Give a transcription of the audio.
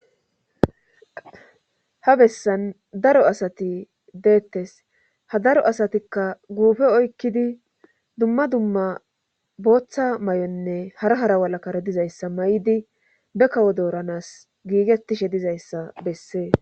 ha bessan daro asati deettes ha daro asatikka guufe oykkidi dumma dumma booththa may7onne hara hara walakkara dizayssa may7idi be kawo dooranas giigettishe dizayssa bessees